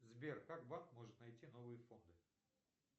сбер как банк может найти новые фонды